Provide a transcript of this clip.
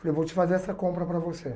Falei, vou te fazer essa compra para você.